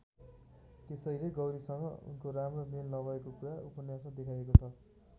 त्यसैले गौरीसँग उनको राम्रो मेल नभएको कुरा उपन्यासमा देखाइएको छ।